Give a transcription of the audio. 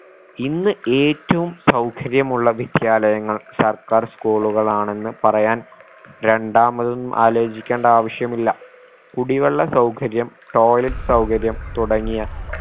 ഇന്ന് ഏറ്റവും സൗകര്യമുള്ള വിദ്യാലയങ്ങൾ സർക്കാർ school കളാണെന്ന് പറയാൻ രണ്ടാമതും ആലോചിക്കേണ്ട ആവശ്യമില്ല കുടിവെള്ള സൗകര്യം toilet സൗകര്യം തുടങ്ങിയ